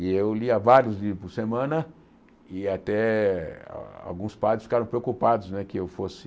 E eu lia vários livros por semana e até ah alguns padres ficaram preocupados né que eu fosse...